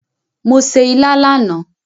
Mo se ilá lánàá